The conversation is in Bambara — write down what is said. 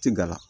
Ti gala